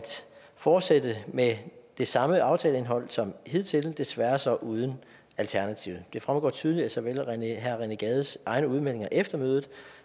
fortsætte med det samme aftaleindhold som hidtil desværre så uden alternativet det fremgår tydeligt af såvel herre rené gades egne udmeldinger efter mødet